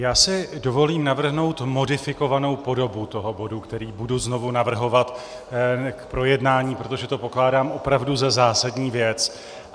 Já si dovolím navrhnout modifikovanou podobu toho bodu, který budu znovu navrhovat k projednání, protože to pokládám opravdu za zásadní věc.